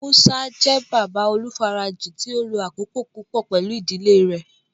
Musa jẹ baba olufaraji ti o lo akoko pupọ pẹlu idile rẹ